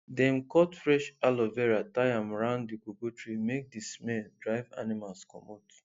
dem cut fresh aloe vera tie am round the cocoa tree make the smell drive animals comot